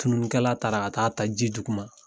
Tununikɛla taara ka taa a ta ji duguma.